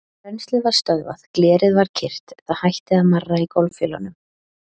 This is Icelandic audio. Rennslið var stöðvað, glerið var kyrrt, það hætti að marra í gólffjölunum.